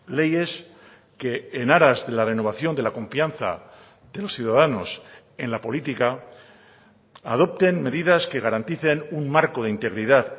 leyes que en aras de la renovación de la confianza de los ciudadanos en la política adopten medidas que garanticen un marco de integridad